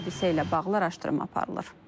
Hadisə ilə bağlı araşdırma aparılır.